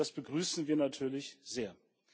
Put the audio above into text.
Das begrüßen wir natürlich sehr.